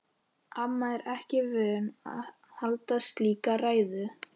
Amma er ekki vön að halda slíka ræðu.